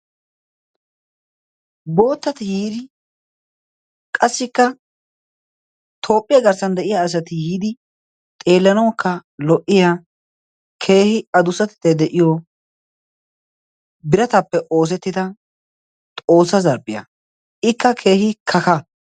boottati yiiri qassikka toophphiyaa garssan de7iya asati yiidi xeellanaukka lo77iya keehi adussatattae de7iyo biratappe oosettida xoossaa zarppiyaa. ikka keehi kakaa.